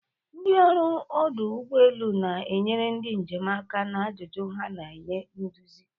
Ndị ọrụ ọdụ ụgbọ elu na-enyere ndị njem aka na ajụjụ ha ma nye nduzi.